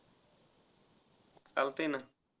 चालतय ना.